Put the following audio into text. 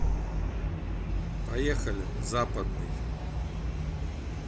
поехали западный